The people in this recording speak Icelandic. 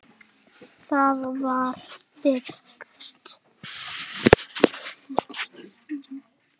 Það var byggt